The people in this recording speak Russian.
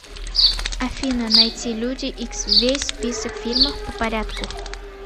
афина найти люди икс весь список фильмов по порядку